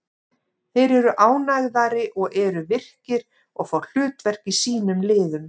Þeir eru ánægðari og eru virkir og fá hlutverk í sínum liðum.